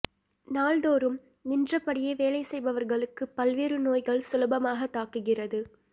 நாள்தோறும் நின்றபடியே வேலை செய்பவர்களுக்கு பல்வேறு நோய்கள் சுலபமாக தாக்குகிறது